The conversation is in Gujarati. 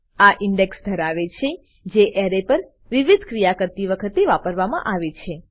આ ઇન્ડેક્સ ધરાવે છે જે એરે પર વિવિધ ક્રિયા કરતી વખતે વાપરવામા આવે છે